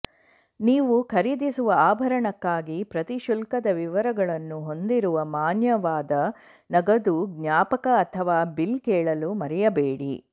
ನೀವು ಖರೀದಿಸುವ ಆಭರಣಕ್ಕಾಗಿ ಪ್ರತಿ ಶುಲ್ಕದ ವಿವರಗಳನ್ನು ಹೊಂದಿರುವ ಮಾನ್ಯವಾದ ನಗದು ಜ್ಞಾಪಕ ಅಥವಾ ಬಿಲ್ ಕೇಳಲು ಮರೆಯಬೇಡಿ